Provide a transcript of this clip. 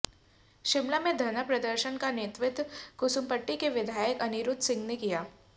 शिमला में धरना प्रदर्शन का नेतृत्व कुसुम्पटी के विधायक अनिरुद्ध सिंह ने किया